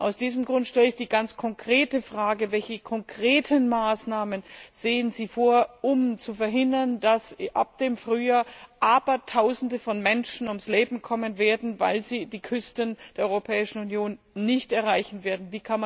Aus diesem Grund stelle ich die ganz konkrete Frage Welche konkreten Maßnahmen sehen Sie vor, um zu verhindern, dass ab dem Frühjahr Abertausende von Menschen ums Leben kommen werden, weil sie die Küsten der Europäischen Union nicht erreichen werden?